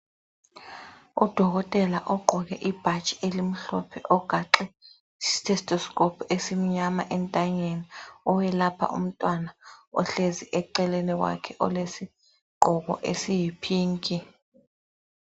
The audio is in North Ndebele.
Udokotela ogqoke ibhatshi elimhlophe ogaxe istetoscope esimnyama entanyeni owelapha umntwana ohlezi eceleni kwakhe olesigqoko esiyipink.